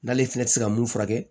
N'ale fɛnɛ ti se ka mun furakɛ